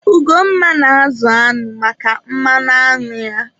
Ugomma na-azụ añụ maka mmanụ añụ ya.